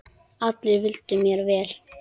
Allir vildu mér vel.